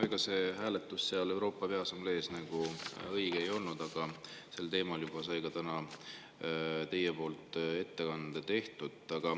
No ega see hääletus seal Peaassambleel õige ei olnud, aga sel teemal juba tegite täna ettekande.